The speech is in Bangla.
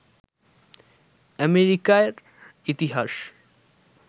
আমেরিকার ইতিহাস